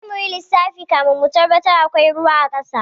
Sai munyi lissafi kafin mu tabbatar akwai ruwa a ƙasa.